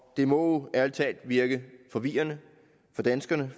det må ærlig talt virke forvirrende for danskerne